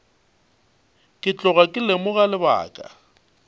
ke tloga ke lemoga lebaka